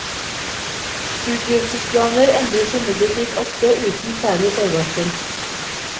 Utgivelsesplaner endres imidlertid ofte uten særlig forvarsel.